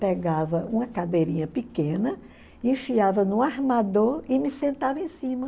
Pegava uma cadeirinha pequena, enfiava no armador e me sentava em cima.